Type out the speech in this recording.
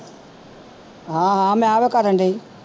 ਹਾਂ ਹਾਂ ਮੈਂ ਤੇ ਕਰਨਡੀ